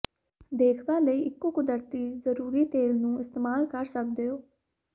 ਦੇਖਭਾਲ ਲਈ ਇੱਕੋ ਕੁਦਰਤੀ ਜ਼ਰੂਰੀ ਤੇਲ ਨੂੰ ਇਸਤੇਮਾਲ ਕਰ ਸਕਦੇ ਹੋ